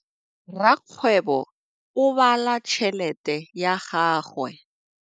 Rakgwêbô o bala tšheletê ya gagwe.